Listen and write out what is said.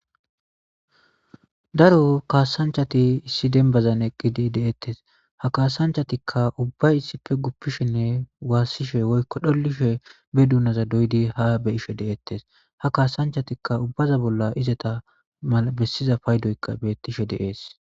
daro kaasanchati issi dembazan eqqidi deettes ha kaasanchatikka ubba issippe guppishinne waassishe woykko dhollishe be duunaza doydi ha be ishe deettes ha kaasanchatikka ubbaza bolla izeta malabessiza paydoyka bettishe deees